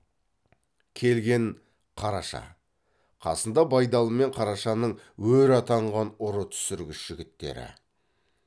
келген қараша қасында байдалы мен қарашаның өр атанған ұры түсіргіш жігіттері